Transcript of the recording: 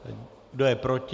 Kdo je proti?